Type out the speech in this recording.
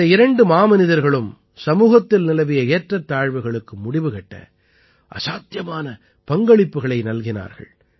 இந்த இரண்டு மாமனிதர்களும் சமூகத்தில் நிலவிய ஏற்றத்தாழ்வுகளுக்கு முடிவு கட்ட அசாத்தியமான பங்களிப்புக்களை நல்கினார்கள்